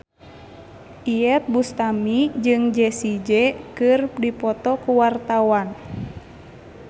Iyeth Bustami jeung Jessie J keur dipoto ku wartawan